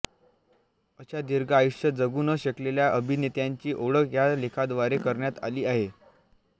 अशा दीर्घ आयुष्य जगू न शकलेल्या अभिनेत्यांची ओळख या लेखाद्वारे करण्यात आली आहे